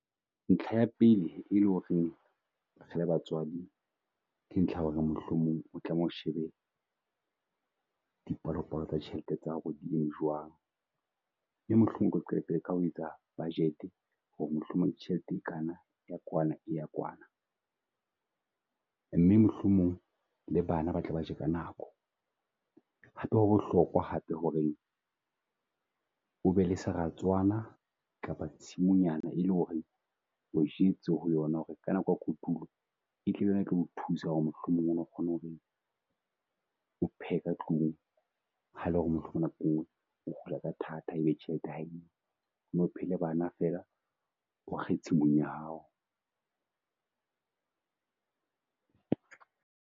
Ntlha ya pele e lo reng re le batswadi ke ntlha ho re mohlomong o tlameha o shebe di palopalo tsa ditjhelete tsa ho re di eme jwang. Mme mohlomong ke qetelle ka ho etsa budget ho re mohlomong tjhelete e kana e ya kwana e ya kwana. Mme mohlomong le bana ba tle ba tje ka nako. Hape ho hape ho re o be le seratswana kapa tshimongnyana e le ho reng o jwetse ho yo na ho re ka nako ya kotulo e tlabe e tlo thusa ho re mohlomong o kgone ho re o phehe ka tlung. Ha le ho re mohlomong nako e nngwe e hula ka thata e be tjhelete ya ha eyo. Mme o phehele ba na fela, o kge tshimong ya hao.